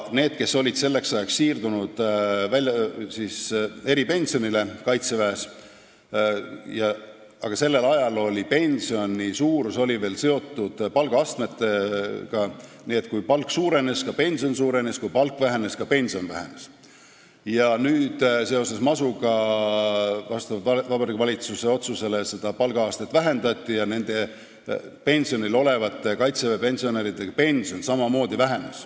Nendel, kes olid selleks ajaks siirdunud kaitseväest eripensionile – sellel ajal oli pensioni suurus veel seotud palgaastmetega, nii et kui palk suurenes, siis ka pension suurenes, ja kui palk vähenes, siis ka pension vähenes –, masu tõttu ja vastavalt Vabariigi Valitsuse otsusele palgaastet vähendati ja pensionil olevate kaitseväepensionäride pension samamoodi vähenes.